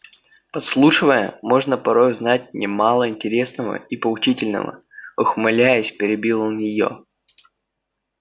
подслушивая можно порой узнать немало интересного и поучительного ухмыляясь перебил он её